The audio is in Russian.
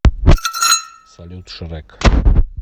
салют шрэк